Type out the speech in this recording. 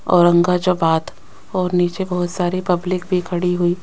और उनका जो बात और नीचे बहुत सारी पब्लिक भी खड़ी हुई--